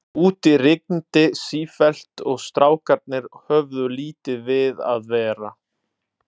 Úti rigndi sífellt og strákarnir höfðu lítið við að vera.